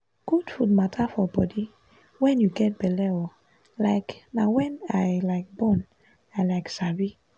good food matter for body when you get belle ooo um na wen i um born i um sabi